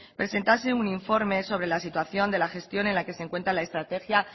presentase un informe sobre la situación de la gestión en la que se encuentre la estrategia